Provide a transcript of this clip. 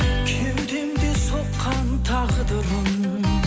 кеудемде соққан тағдырым